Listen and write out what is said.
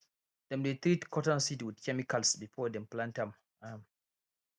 dem dey treat cotton seed with chemicals before dem plant am am